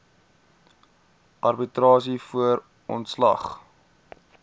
arbitrasie voor ontslag